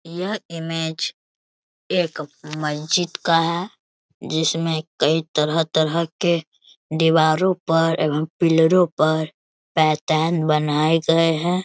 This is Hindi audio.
यह इमेज एक मस्जिद का है जिसमें कई तरह-तरह के दीवारो पर एवम पिलरो पर पैटर्न बनाये गये हैं।